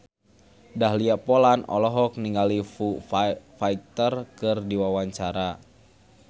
Dahlia Poland olohok ningali Foo Fighter keur diwawancara